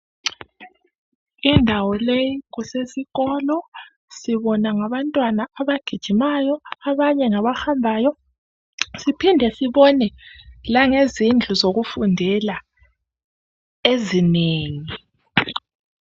Indawo leyi kusesikolo. Sibona ngabantwana abagijimayo abanye ngabahambayo siphinde sibone langezindlu zokufundela ezinengi.